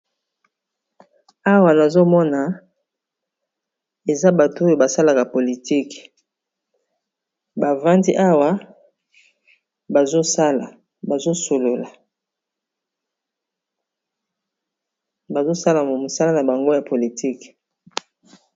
awa nazomona eza bato oyo basalaka politiki bavandi awa bazosala mo mosala na bango ya politike